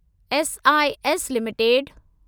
SIS limited